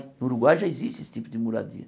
No Uruguai já existe esse tipo de moradia.